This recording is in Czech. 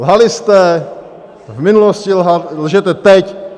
Lhali jste v minulosti, lžete teď.